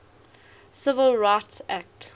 civil rights act